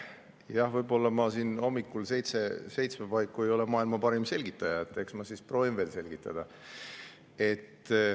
Jah, võib-olla ma siin hommikul seitsme paiku ei ole maailma parim selgitaja, aga eks ma siis proovin veel selgitada.